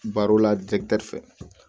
Baro la fɛ